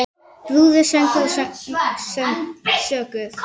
Brúður, söngur og sögur.